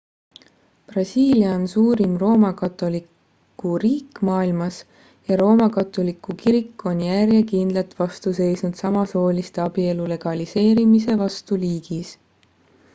brasiilia on suurim roomakatoliku riik maailmas ja roomakatoliku kirik on järjekindlalt vastu seisnud samasooliste abielu legaliseerimise vastu riigis